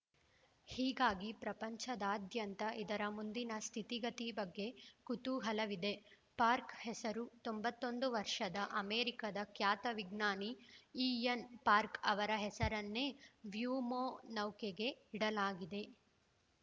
ಹೀಗಾಗಿ ಪ್ರಪಂಚದಾದ್ಯಂತ ಇದರ ಮುಂದಿನ ಸ್ಥಿತಿಗತಿ ಬಗ್ಗೆ ಕುತೂಹಲವಿದೆ ಪಾರ್ಕ ಹೆಸರು ತೊಂಬತ್ತೊಂದು ವರ್ಷದ ಅಮೆರಿಕದ ಖ್ಯಾತ ವಿಜ್ಞಾನಿ ಇಎನ್‌ ಪಾರ್ಕ ಅವರ ಹೆಸರನ್ನೇ ವ್ಯೋಮನೌಕೆಗೆ ಇಡಲಾಗಿದೆ